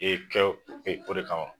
E kɛ o de kama